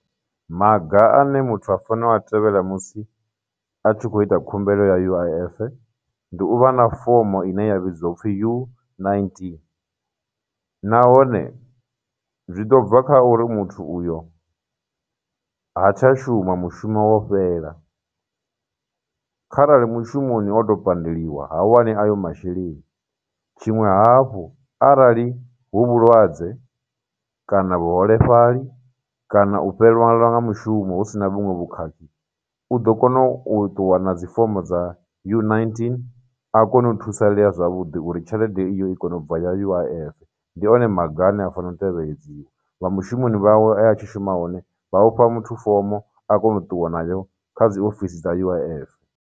Maga ane muthu a fanela u a tevhela musi a tshi khou ita khumbelo ya U_I_F ndi uvha na fomo ine ya vhidziwa u pfhi U nineteen, nahone zwi ḓo bva kha uri muthu uyo ha tsha shuma, mushumo wo fhela. Kharali mushumoni o tou pandeliwa, ha wani ayo masheleni. Tshiṅwe hafhu, arali hu vhulwadze, kana vhuholefhali, kana u fhelelwa nga mushumo husina vhuṅwe vhukhakhi, u ḓo kona u tuwa na dzi fomo dza U nineteen, a kone u thusalea zwavhuḓi uri tshelede iyo i kone ubva ya U_I_F, ndi one maga ane a fanela u tevhedziwa, vha mushumoni vhawe e a tshi shuma hone, vha ufha muthu fomo a kona u ṱuwa nayo kha dziofisi dza U_I_F.